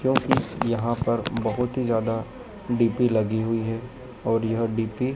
क्योंकि यहां पर बहोत ही ज्यादा डी_पी लगी हुई है और यह डी_पी --